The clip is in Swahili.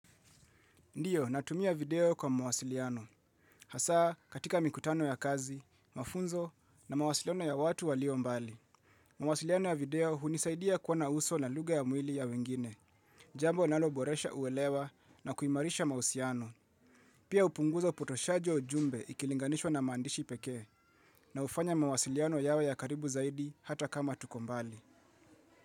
Ndio, natumia video kwa mwasiliano. Hasa, katika mikutano ya kazi, mafunzo na mawasiliano ya watu walio mbali. Mawasiliano ya video hunisaidia kuona uso na lugha ya mwili ya wengine. Jambo naloboresha uwelewa na kuimarisha mahusiano. Pia hupunguza upotoshaji wa ujumbe ukilinganishwa na maandishi peke. Na hufanya mawasiliano yawe ya karibu zaidi hata kama tuko mbali.